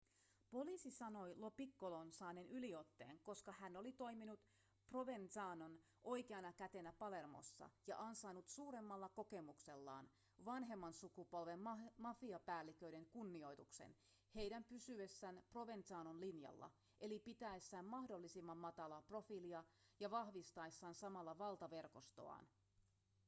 poliisi sanoi lo piccolon saaneen yliotteen koska hän oli toiminut provenzanon oikeana kätenä palermossa ja ansainnut suuremmalla kokemuksellaan vanhemman sukupolven mafiapäälliköiden kunnioituksen heidän pysyessään provenzanon linjalla eli pitäessään mahdollisimman matalaa profiilia ja vahvistaessaan samalla valtaverkostoaan